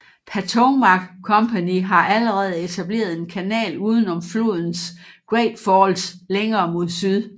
Patowmac Company havde allerede etableret en kanal uden om flodens Great Falls længere mod syd